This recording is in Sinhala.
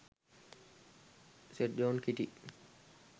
st john kitty